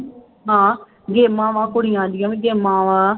ਹਾਂ ਗੇਮਾਂ ਵਾਂ ਕੁੜੀਆਂ ਦੀਆਂ ਵੀ ਗੇਮਾਂ ਵਾਂ।